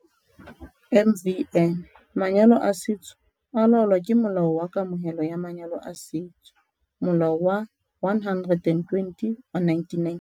MvN- Manyalo a setso a laolwa ke Molao wa Kamohelo ya Manyalo a Setso, Molao wa 120 wa 1998.